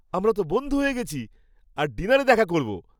আমরা তো বন্ধু হয়ে গেছি, আর ডিনারে দেখা করব।